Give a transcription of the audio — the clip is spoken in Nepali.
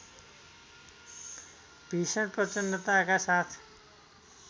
भिषण प्रचन्डताका साथ